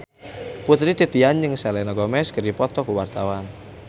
Putri Titian jeung Selena Gomez keur dipoto ku wartawan